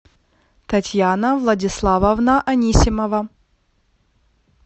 татьяна владиславовна анисимова